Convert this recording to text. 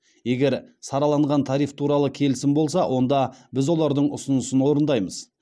егер сараланған тариф туралы келісім болса онда біз олардың ұсынысын орындаймыз